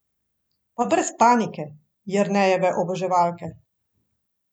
Pa brez panike, Jernejeve oboževalke.